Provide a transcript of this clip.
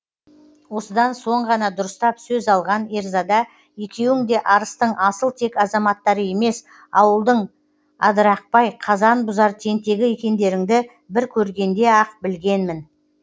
осыдан соң ғана дұрыстап сөз алған ерзада екеуің де арыстың асыл тек азаматтары емес ауылдың адырақбай қазан бұзар тентегі екендеріңді бір көргенде ақ білгенмін